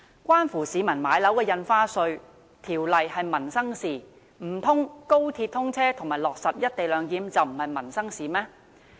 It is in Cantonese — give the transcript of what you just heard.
關乎市民買樓的《印花稅條例》是民生事項，難道高鐵通車和落實"一地兩檢"便不是民生事項嗎？